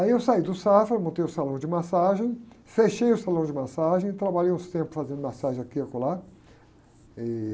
Aí eu saí do Safra, montei o salão de massagem, fechei o salão de massagem, trabalhei uns tempos fazendo massagem aqui e acolá. Ih...